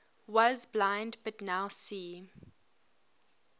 was blind but now see